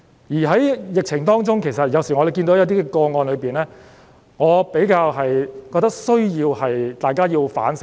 在疫情當中，其實有時看到一些個案，我覺得大家需要反省。